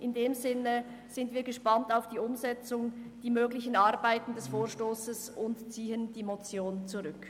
Wir sind gespannt auf die Umsetzung und ziehen die Motion zurück.